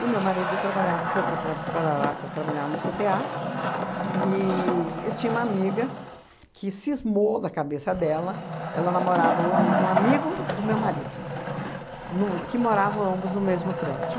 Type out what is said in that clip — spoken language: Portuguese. E meu marido trabalhava, foi para tra para lá para trabalhar no cê tê a e e tinha uma amiga que cismou da cabeça dela, ela namorava um um amigo do meu marido, no que moravam ambos no mesmo prédio.